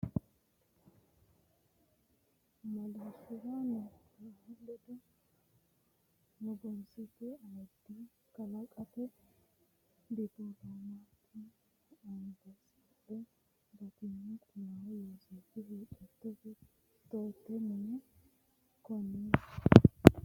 Madaarshisira nugusichu ledo nugussate ayiddi kalqete dippiloomaatooti ambaasaadderra, batinyu minni kiirranni Addisaawu mannooti noowa Qullawa Yooseefi huuccat- tote mini mooggara madaarroonni Abbebe rewoonni kainohunni gobbate deerrinni mittu barri dadilli ikkanno gede lallamboonni.